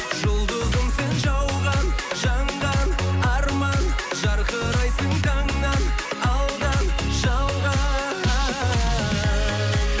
жұлдызым сен жауған жанған арман жарқырайсың таңнан алдан жалған